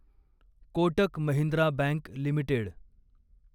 Kotak Mahindra bank limited